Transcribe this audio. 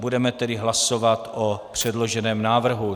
Budeme tedy hlasovat o předloženém návrhu.